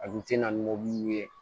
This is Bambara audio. A kun tɛ na ni mobili ye